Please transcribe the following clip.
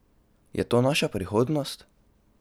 Je to naša prihodnost?